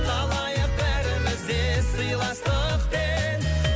қалайық бәріміз де сыйластықпен